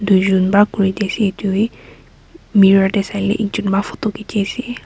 tui jun ba kuri di asae etu bi mirror dae sailae ekjun para photo diki asae.